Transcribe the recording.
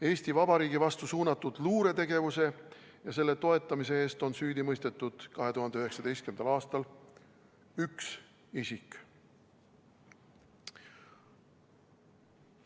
Eesti Vabariigi vastu suunatud luuretegevuse ja selle toetamise eest on süüdi mõistetud 2019. aastal üks isik.